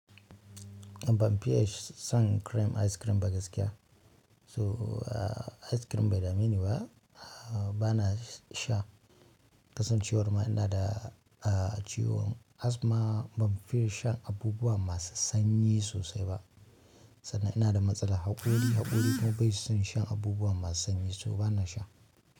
Ban fiye sh, san cream ice cream ba gaskiya. So a ice cream bai dameni ba. A bana sha. Kasancewar ma ina da a ciwon asthma ban fiye shan abubuwa masu sanyi sosai ba. Sannan ina da matsalan haƙori, haƙori kuma bai son shan abubuwa masu sanyi, so bana sha.